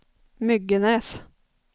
Myggenäs